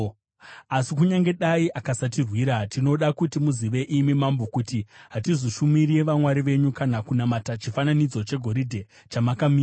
Asi kunyange dai akasatirwira, tinoda kuti muzive, imi mambo, kuti hatizoshumiri vamwari venyu kana kunamata chifananidzo chegoridhe chamakamisa.”